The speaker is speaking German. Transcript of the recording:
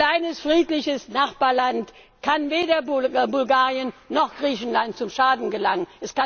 Ein kleines friedliches Nachbarland kann weder Bulgarien noch Griechenland zum Schaden gereichen.